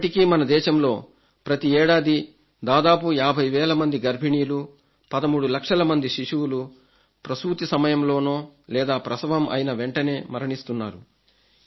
ఇప్పటికీ మన దేశంలో ప్రతి ఏడాది దాదాపు 50 వేల మంది గర్భిణీలు 13 లక్షల మంది శిశువులు ప్రసూతి సమయంలోనే లేదా ప్రసవం అయిన వెంటనే మరణిస్తున్నారు